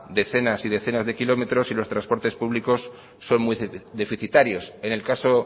decenas y decenas de kilómetros y los trasportes públicos son muy deficitarios en el caso